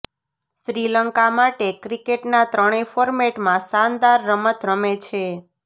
શ્રીલંકા માટે ક્રિકેટના ત્રણેય ફોર્મેટમાં શાનદાર રમત રમે છે